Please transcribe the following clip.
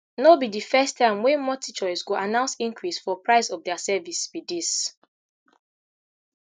no be di first time wey multi choice go announce increase for price of dia service be dis